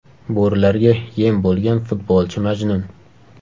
Bo‘rilarga yem bo‘lgan futbolchi Majnun.